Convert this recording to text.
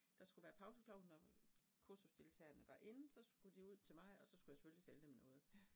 Der skulle være pauseklovnen, og kursusdeltagerne var inde så skulle de ud til mig, og så skulle jeg selvfølgelig sælge dem noget